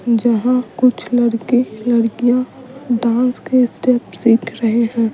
जहां कुछ लड़के लड़कियां डांस के स्टेप सीख रहे हैं।